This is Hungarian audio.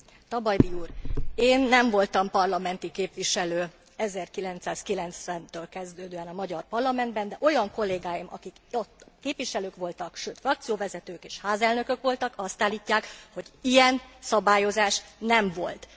Tabajdi úr! Én nem voltam parlamenti képviselő 1990 től kezdődően a magyar parlamentben, de olyan kollégáim, akik ott képviselők voltak, sőt frakcióvezetők és házelnökök voltak, azt állítják, hogy ilyen szabályozás nem volt.